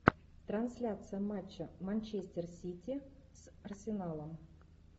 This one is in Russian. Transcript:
трансляция матча манчестер сити с арсеналом